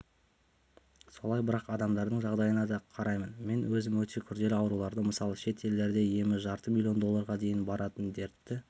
солай бірақ адамдардың жағдайына да қараймын мен өзім өте күрделі ауруларды мысалы шет елдерде емі жарты миллион долларға дейін баратын дертті